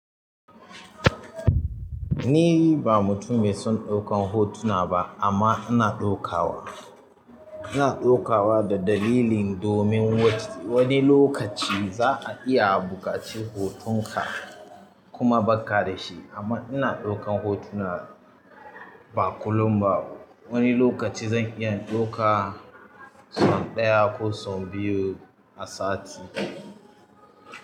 Ni ba mutum mai son ɗaukan hotuna ba amma ina ɗauka wa, ina ɗauka wa da dalili. Domin wani lokaci za ka iya buƙaci hotonka kuma bakka da shi amma ina ɗaukan hotuna ba kullum ba. Wani lokaci zan iya ɗauka sau ɗaya ko sau biyu a sati.